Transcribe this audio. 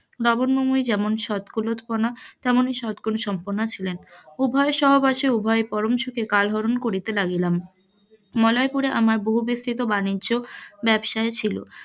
লাবণ্যময়ি যেমন সৎ কুলতপণা তেমনই সৎ গুণ সম্পনা ছিলেন, উভয়ের সহবাসে উভয়ের কাল হরন করিতে লাগিলাম, মলয়পুরে আমার বহু বিস্তৃত বাণিজ্য ব্যবসা ছিল,